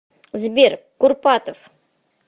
сбер курпатов